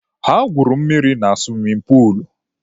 Ha gwuru mmiri na suwimin puulu.